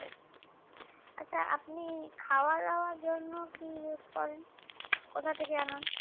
আচ্ছা আপনি খাওয়া দেওয়ার জন্য কি use করেন কোথা থেকে আনেন